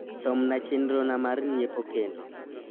som na chenro na mar nyiepo kendo